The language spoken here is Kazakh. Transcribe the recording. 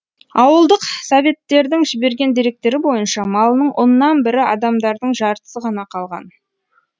ауылдық советтердің жіберген деректері бойынша малының оннан бірі адамдардың жартысы ғана қалған